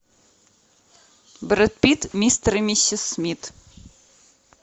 брэд питт мистер и миссис смит